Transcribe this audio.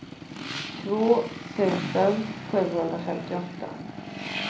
två tusen sjuhundrafemtioåtta